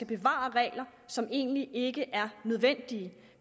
bevare regler som egentlig ikke er nødvendige